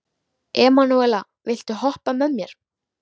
Emanúela, viltu hoppa með mér?